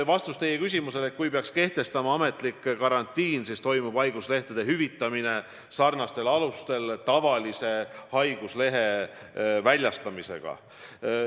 Vastuseks teie küsimusele ütlen ka, et kui peaks kehtestatama ametlik karantiin, siis toimub haiguslehtede hüvitamine sarnastel alustel tavalise haiguslehe väljastamisega.